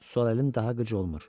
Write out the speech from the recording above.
Sol əlim daha qıc olmur.